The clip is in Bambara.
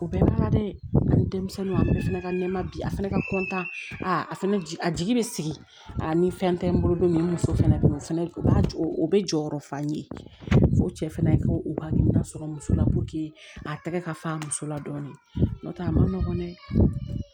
O bɛɛ b'a la dɛ ani denmisɛnninw a fana ka nɛma bi a fɛnɛ ka kɔntan aa a fɛnɛ a jigi bɛ sigi a ni fɛn tɛ n bolo don min ni muso fɛnɛ bɛ yen o fɛnɛ o b'a jɔ o bɛ jɔyɔrɔ fa ye fo cɛ fana ko u ka hakilina sɔrɔ muso la a tɛgɛ ka fa musola dɔɔni n'o tɛ a ma nɔgɔn dɛ